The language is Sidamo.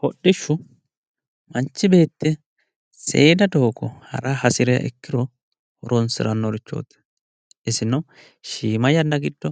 hodhishu manchi beetti seeda doogo hara hasiriha ikkiro horonsirannorichooti isino shiima yanna giddo